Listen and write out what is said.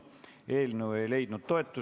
Ettepanek ei leidnud toetust.